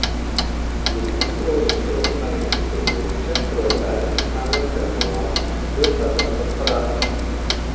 екімың тоғызыншы жылғы мәліметтер бойынша тұрғындарының саны бір мың алты жүз төрт адамды құрады